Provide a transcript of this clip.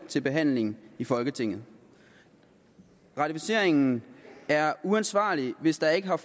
til behandling i folketinget ratificeringen er uansvarlig hvis der ikke har